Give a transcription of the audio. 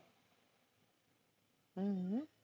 हम्म